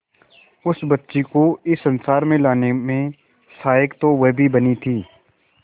उस बच्ची को इस संसार में लाने में सहायक तो वह भी बनी थी